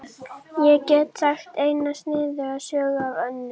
Ég get sagt eina sniðuga sögu af Önnu.